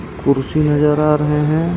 कुर्सी नजर आ रहै है.